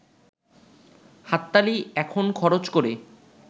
হাততালি এখন খরচ করে